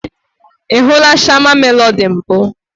I hụla Shama Melody mbụ?